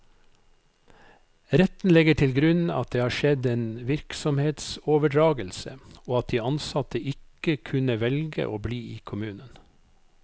Retten legger til grunn at det har skjedd en virksomhetsoverdragelse, og at de ansatte ikke kunne velge å bli i kommunen.